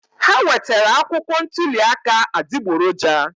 Ha wetara akwụkwọ ntuli aka adịgboroja.